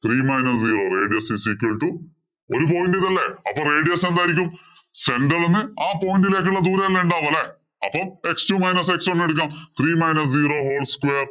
Three minus zero radius is equal to ഒരു point ഇലല്ലേ. അപ്പൊ radius എന്തായിരിക്കും? center ഇല്‍ നിന്ന് ആ point ഇലേക്കുള്ള ദൂരമല്ലേ ഉണ്ടാവുക? അല്ലേ? അപ്പൊ x two minus x one എടുക്കാം. Three minus zero whole square